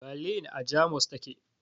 Balin a Jamus ta ke